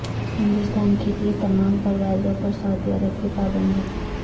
ہندوستان کیلئے تمام پروازوں پر سعودی عرب کی پابندی